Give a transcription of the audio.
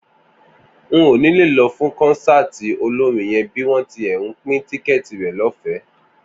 N ò ní lọ fún kọ́nsáàti olórin yẹn bí wọ́n tilẹ̀ ń pín tíkẹ́ẹ̀tì rẹ̀ lọ́fẹ̀ẹ́